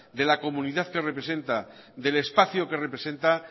de la comunidad que representa del espacio que representa